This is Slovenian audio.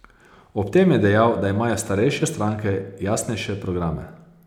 Ob tem je dejal, da imajo starejše stranke jasnejše programe.